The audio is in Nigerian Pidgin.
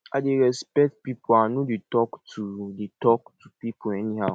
i dey respect pipo i no dey tok to dey tok to pipo anyhow